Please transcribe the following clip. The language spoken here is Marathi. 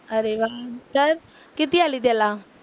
अरे वा. तर, किती आली त्याला?